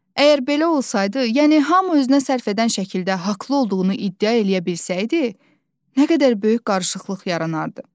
əgər belə olsaydı, yəni hamı özünə sərf edən şəkildə haqlı olduğunu iddia eləyə bilsəydi, nə qədər böyük qarışıqlıq yaranardı.